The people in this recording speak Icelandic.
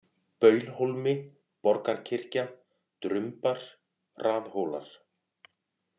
Baulhólmi, Borgarkirkja, Drumbar, Raðhólar